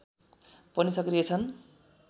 पनि सक्रिय छन्